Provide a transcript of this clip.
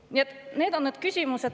Nii et need on need küsimused …